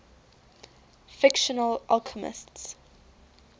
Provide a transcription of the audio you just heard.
fictional alchemists